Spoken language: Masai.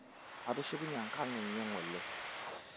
atushukunye enkanye ngole